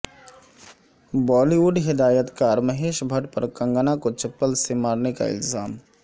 بالی would ہدایت کار مہیش بھٹ پر کنگنا کو چپل سے مارنے کا الزام